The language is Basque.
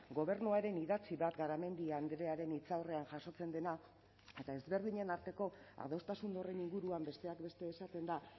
gobernuaren idatzi bat garamendi andrearen hitzaurrean jasotzen dena eta ezberdinen arteko adostasun horren inguruan besteak beste esaten da